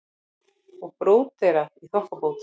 Og bróderað í þokkabót.